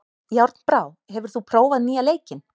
Járnbrá, hefur þú prófað nýja leikinn?